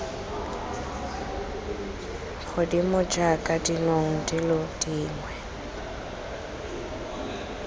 godimo jaaka dinong dilo dingwe